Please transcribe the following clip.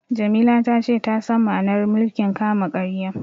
Jamila ta ce ta san ma'anar mulkin kama-karya.